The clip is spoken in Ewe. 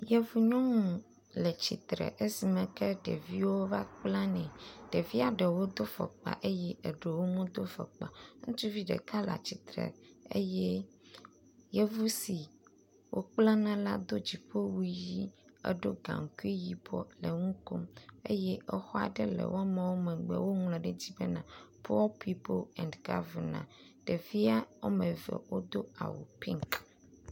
Yevu nyɔnu le tsitre esime ke ɖeviwo va kpla nɛ. Ɖevia ɖewo do fɔkpa eye ɖewo medo fɔkpa o. Ŋutsuvi ɖeka le tsitre eye yevu si wokple na la do dziƒowu ʋi eɖeo gaŋkui yibɔ le nu kom eye exɔ aɖe le wo megbe woŋlɔ ɖe edzi be poor pipol and gɔvenans.